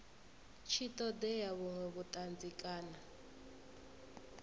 tshi ṱoḓea vhuṅwe vhuṱanzi kana